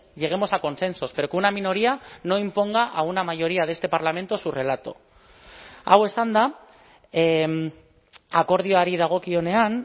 lleguemos a consensos pero que una minoría no imponga a una mayoría de este parlamento su relato hau esanda akordioari dagokionean